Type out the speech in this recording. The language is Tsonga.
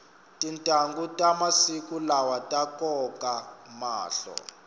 tintanghu ta masiku lawa ta koka mahlo